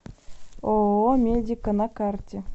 ооо медика на карте